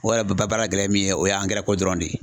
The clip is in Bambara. O yɛrɛ ba baara gɛlɛ min ye o ye angɛrɛko dɔrɔn de ye.